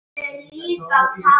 Þú varst heill og sannur.